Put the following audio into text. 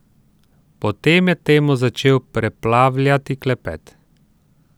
Potem je temo začel preplavljati klepet.